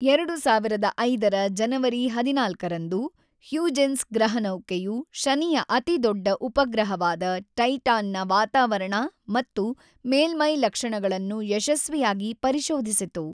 ೨೦೦೫ರ ಜನವರಿ ೧೪ರಂದು, ಹ್ಯೂಜೆನ್ಸ್ ಗ್ರಹನೌಕೆಯು ಶನಿಯ ಅತಿದೊಡ್ಡ ಉಪಗ್ರಹವಾದ ಟೈಟಾನ್‌ನ ವಾತಾವರಣ ಮತ್ತು ಮೇಲ್ಮೈ ಲಕ್ಷಣಗಳನ್ನು ಯಶಸ್ವಿಯಾಗಿ ಪರಿಶೋಧಿಸಿತು.